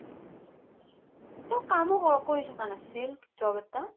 সি তো কামো ক কৰি থকা নাছিল job এটা